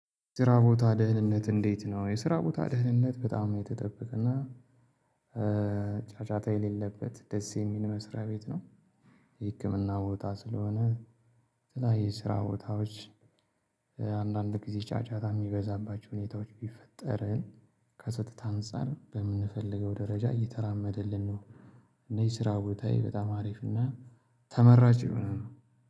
ስራ ቦታ ደህንነት እንዴት ነው የስራ ቦታ ደህንነት በጣም የተጠብቅ እና ጫጫታ የሌለበት ደስ የሚል መስሪያ ቤት ነው። የህክምና ቦታ ስለሆነ የተለያዩ የስራ ቦታዎች አንዳንድ ጊዜ ጫጫታ የሚበዛባቸው ሁኔታዎች ቢፈጠርን ከስህተት አንፃር በምንፈልገው ደረጃ እየተራመደልን ነው። እነዚህ ስራ ቦታዬ በጣም አሪፍ እና ተመራጭ የሆነው